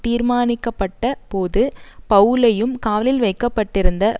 தீர்மானிக்கப்பட்டபோது பவுலையும் காவலில் வைக்க பட்டிருந்த